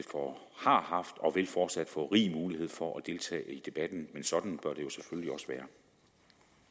har haft og vil fortsat få rig mulighed for at deltage i debatten og sådan bør